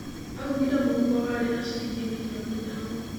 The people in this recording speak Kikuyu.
Augire mũhuko warĩ na ciringi mirioni ithano.